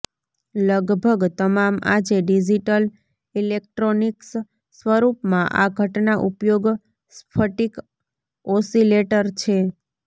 લગભગ તમામ આજે ડિજિટલ ઇલેક્ટ્રોનિક્સ સ્વરૂપમાં આ ઘટના ઉપયોગ સ્ફટિક ઓસિલેટર છે